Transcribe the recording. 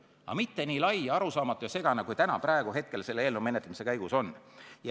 Aga see ei saa olla nii lai, arusaamatu ja segane, kui see täna, praegusel hetkel selle eelnõu menetlemise käigus on.